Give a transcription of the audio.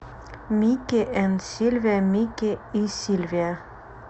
мики энд сильвия мики и сильвия